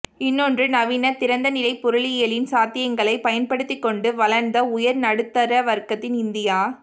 இன்னொன்று நவீன திறந்தநிலைப் பொருளியலின் சாத்தியங்களை பயன்படுத்திக்கொண்டு வளர்ந்த உயர்நடுத்தர வர்க்கத்தின் இந்தியா